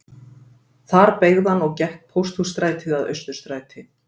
Þar beygði hann og gekk Pósthússtrætið að Austurstræti